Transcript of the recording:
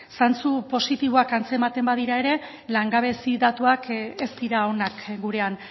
zantzu positiboak antzematen badira ere langabezia datuak ez dira onak gurean